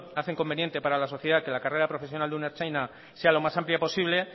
hacen conveniente para la sociedad que la carrera profesional de un ertzaintza sea lo más amplia posible